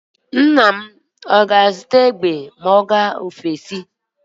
Nna gị ọ ga-azụta egbe ma ọ gaa mba ofesi.